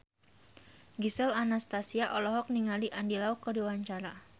Gisel Anastasia olohok ningali Andy Lau keur diwawancara